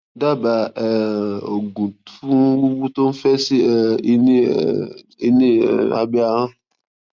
dábàá um oògùn fun wuwu to n fẹ si um i ni um i ni um abẹ́ ahọ́n